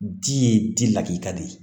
Di ye di lakita de ye